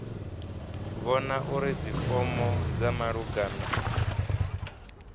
vhona uri dzifomo dza malugana